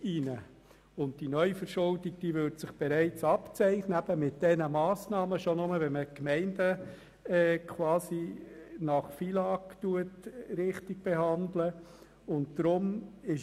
Diese Neuverschuldung würde sich bereits abzeichnen, schon nur, wenn man die Gemeinden gemäss FILAG korrekt behandelt.